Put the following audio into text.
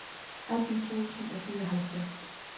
atten tusind og fireoghalvtreds